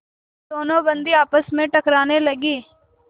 दोनों बंदी आपस में टकराने लगे